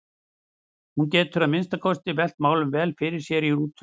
Hún getur að minnsta kosti velt málunum vel fyrir sér í rútunni.